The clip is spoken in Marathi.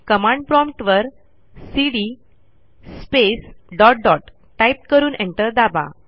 कमांड प्रॉम्प्ट वरcd स्पेस डॉट डॉट टाईप करून एंटर दाबा